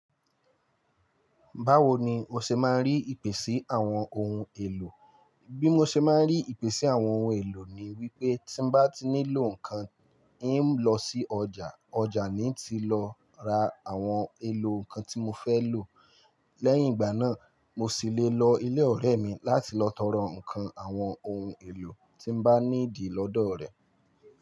Báwo ni o ṣe máa ń rí ìpèsè àwọn ohun èlò? Bí mo ṣe máa ń rí ìpèsè àwọn ohun èlò ni wípé tí ń bá ti nílò ǹnkan, ń lọ sí ọjà, ọjà ni ń ti lọ ra àwọn èlò ǹnkan tí mo fẹ́ lò. Lẹ́yìn ìgbà náà, mo sì lè lọ ilé ọ̀rẹ́ mi láti lọ tọrọ ǹmkan àwọn ohun èlò tí ń bá need lọ́dọ̀ rẹ̀.